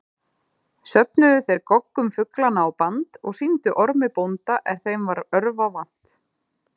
Söfnuðu þeir goggum fuglanna á band og sýndu Ormi bónda er þeim varð örva vant.